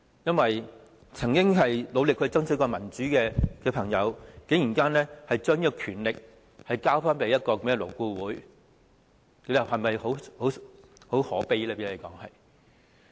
一些曾經努力爭取民主的朋友，竟然把權力交給勞顧會，這不是很可悲嗎？